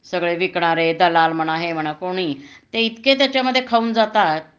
सगळे विकणारे दलाल म्हणा हे म्हणा कोणी ते इतके त्याच्यामधे खाऊन जातात